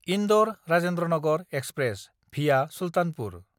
इन्दर–राजेन्द्रनगर express (via Sultanpur)